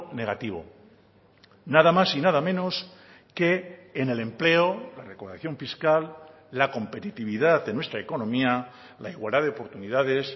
negativo nada más y nada menos que en el empleo la recaudación fiscal la competitividad de nuestra economía la igualdad de oportunidades